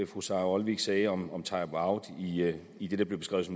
fru sara olsvig sagde om om timeout i det der blev beskrevet